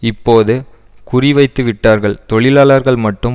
இப்போது குறிவைத்துவிட்டார்கள் தொழிலாளர்கள் மட்டும்